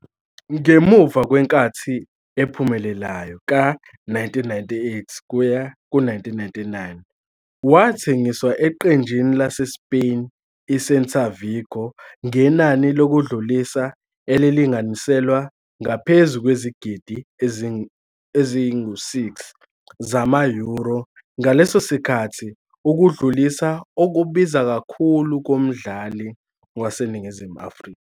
Ngemuva kwenkathi ephumelelayo ka-1998-99, wathengiswa eqenjini laseSpain i-Celta Vigo ngenani lokudlulisa elilinganiselwa ngaphezu kwezigidi ezingu-6 zama-euro, ngaleso sikhathi ukudlulisa okubiza kakhulu komdlali waseNingizimu Afrika.